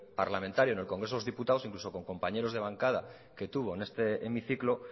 parlamentario en el congreso de los diputados incluso con compañeros de bancada que tuvo en este hemiciclo